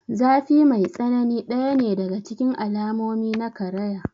Zafi mai tsanani ɗaya ne daga cikin alamomi na karaya.